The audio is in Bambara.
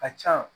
Ka ca